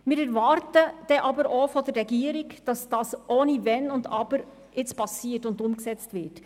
Von der Regierung erwarten wir dann aber auch, dass es dann ohne Wenn und Aber geschieht und umgesetzt wird;